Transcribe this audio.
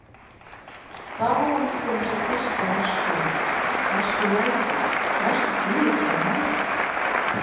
Hvar á hann til dæmis að gista næstu nótt, næstu nætur, næstu tíu þúsund nætur?